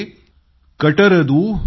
कट्टत केमांवु कल्लादरू उडगडवु